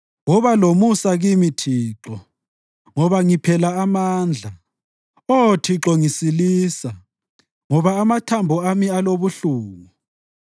Woba lomusa kimi, Thixo, ngoba ngiphela amandla; Oh Thixo, ngisilisa, ngoba amathambo ami alobuhlungu.